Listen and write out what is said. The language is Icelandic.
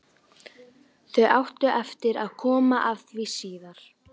Þú átt eftir að komast að því síðar.